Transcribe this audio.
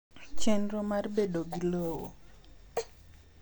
Chenro mar bedo gi lowo